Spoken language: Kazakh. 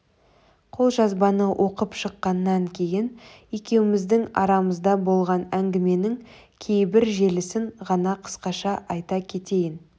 қолжазбаны оқып шыққаннан кейін екеуміздің арамызда болған әңгіменің кейбір желісін ғана қысқаша айта кетейін